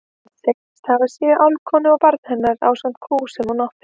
Hann segist hafa séð álfkonu og barn hennar ásamt kú sem hún átti.